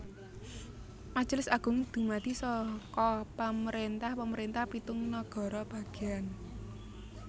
Majelis Agung dumadi saka pemerintah pemerintah pitung nagara bagéan